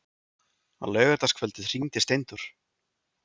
Á laugardagskvöldið hringdi Steindór.